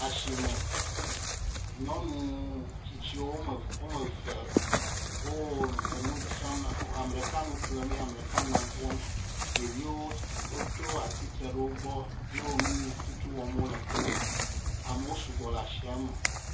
Le asi me, nyɔnu ametsitsi eve wo enu dzram, ame ɖeka le nu dzram ame ɖeka eye ɖeka le nu ƒlem, ɖeviwo tsitre ɖe wo gbɔ eye wole nu si wɔm wole la kpɔm.